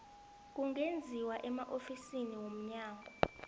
kungenziwa emaofisini womnyango